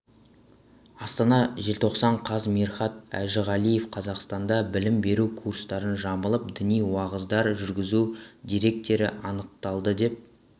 астана желтоқсан қаз мирхат әжіғалиев қазақстанда білім беру курстарын жамылып діни уағыздар жүргізу деректері анықталды деп